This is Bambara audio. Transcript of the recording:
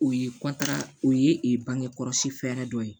O ye o ye bangekɔlɔsi fɛɛrɛ dɔ ye